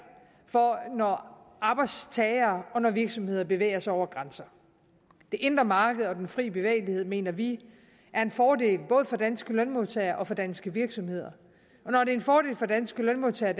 for når arbejdstagere og når virksomheder bevæger sig over grænser det indre marked og den frie bevægelighed mener vi er en fordel både for danske lønmodtagere og for danske virksomheder når det en fordel for danske lønmodtagere